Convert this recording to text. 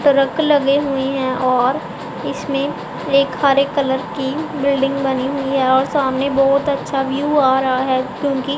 truck लगे हुए हैं और इसमें एक हरे एक कलर की बिल्डिंग बनी हुई है और सामने बहोत अच्छा व्यू आ रहा है क्योंकि--